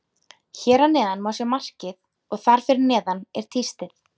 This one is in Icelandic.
Hér að neðan má sjá markið og þar fyrir neðan er tístið.